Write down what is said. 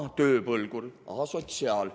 Ahaa, tööpõlgur, asotsiaal.